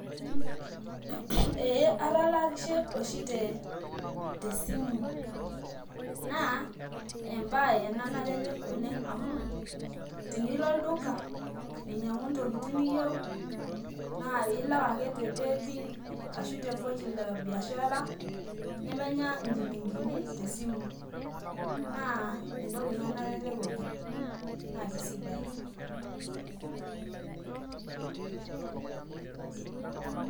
Eeh atalakishe oshi tesimu na embae ena nalelek oleng' amu, tinilo olduka ainyang'u ntokitin niyieu na ilak ake te paybill ashu te pochi la biashara nemenya nchilingini tesimu. Naa entoki ina nalelek oleng' na kesidai.